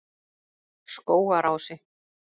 Skógarási